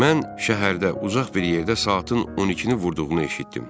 Mən şəhərdə uzaq bir yerdə saatın 12-ni vurduğunu eşitdim.